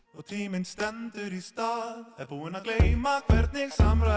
og tíminn stendur í stað er búinn að gleyma hvernig samræður